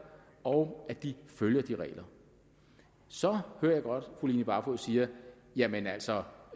og at de følger de regler så hører jeg godt at fru line barfod siger jamen altså